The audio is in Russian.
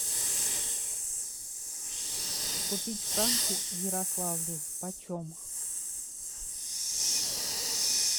купить франки в ярославле почем